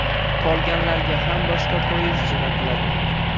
Qolganlarga ham boshqa poyezd jo‘natiladi.